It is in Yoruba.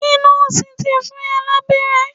Ṣe nọ́ọ̀sì ti fún ọ lábẹ́rẹ́?